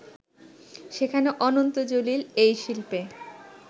সেখানে অনন্ত জলিল এই শিল্পে